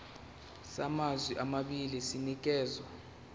samazwe amabili sinikezwa